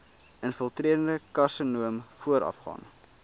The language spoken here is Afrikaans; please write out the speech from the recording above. infiltrerende karsinoom voorafgaan